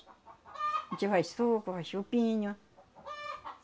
A gente faz suco, faz chupinho.